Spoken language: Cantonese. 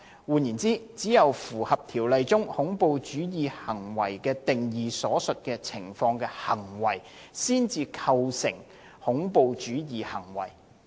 換言之，只有符合《條例》中"恐怖主義行為"的定義所述情況的行為，才構成恐怖主義行為。